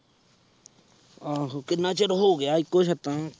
ਆਹੋ ਕਿੰਨਾ ਚਿਰ ਹੋ ਗਿਆ ਇੱਕੇ ਹੀ ਛੱਤਾਂ।